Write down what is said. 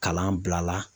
Kalan bila la